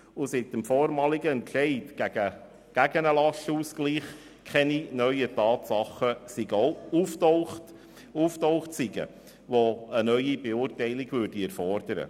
Zudem sind seit dem vormaligen Entscheid gegen einen Lastenausgleich keine neuen Tatsachen aufgetaucht, die eine neue Beurteilung erforderten.